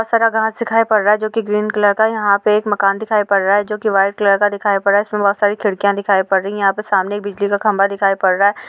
बहोत सारा घास दिखाई पड़ रहा है जो कि ग्रीन कलर का यहाँ पे एक मकान दिखाई पड़ रहा है जो कि व्हाइट कलर का दिखाई पड़ रहा है उसमें बहोत सारी खिड़कियां दिखाई पड़ रही हैं यहाँ पे सामने एक बिजली का खंभा दिखाई पड़ रहा है।